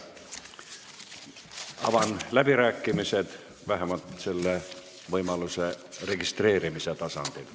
Avan läbirääkimised, vähemalt selle võimaluse registreerimise tasandil.